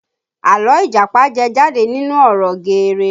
Àlọ́ Ìjàpá jẹ jáde nínú ọ̀rọ̀ geere